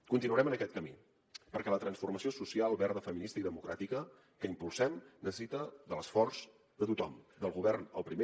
continuarem en aquest camí perquè la transformació social verda feminista i democràtica que impulsem necessita l’esforç de tothom del govern el primer